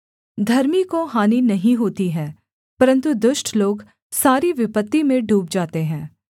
धर्मी को हानि नहीं होती है परन्तु दुष्ट लोग सारी विपत्ति में डूब जाते हैं